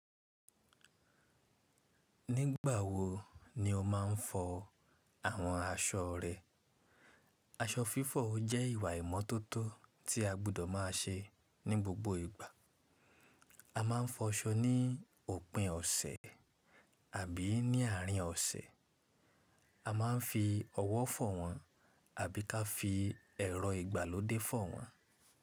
Nígbà wo ni o máa ń fọ àwọn aṣọ rẹ? Aṣọ fífọ̀ jẹ́ ìwà ìmọ́tótó tí a gbọ́dọ̀ má a ṣe ní gbogbo ìgbà. A máa ń fọ aṣọ ní òpin ọ̀sẹ̀ àbí ní àárín ọ̀sẹ̀. A máa ń fi ọwọ́ fọ wọn àbí ká fi ẹ̀rọ ìgbàlódé fọ wọn.